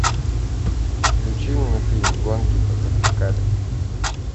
включи мне фильм гонки по вертикали